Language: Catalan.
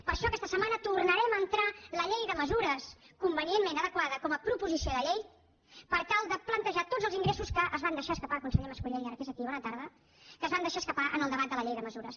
per això aquesta setmana tornarem a entrar la llei de mesures convenientment adequada com a proposició de llei per tal de plantejar tots els ingressos que es van deixar escapar conseller mas colell ara que és aquí bona tarda en el debat de la llei de mesures